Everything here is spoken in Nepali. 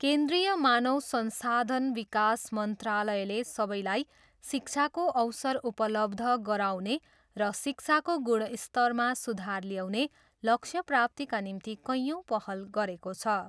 केन्द्रीय मानव संसाधन विकास मन्त्रालयले सबैलाई शिक्षाको अवसर उपलब्ध गराउने र शिक्षाको गुणस्तरमा सुधार ल्याउने लक्ष्यप्राप्तिका निम्ति कैयौँ पहल गरेको छ।